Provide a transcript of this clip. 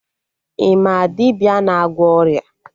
Ị ma dibịa na-agwọ ọrịa?